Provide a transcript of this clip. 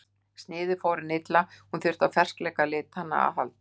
Sniðið fór henni illa en hún þurfti á ferskleika litanna að halda.